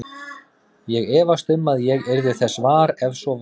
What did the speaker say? Ég efast um að ég yrði þess var, ef svo væri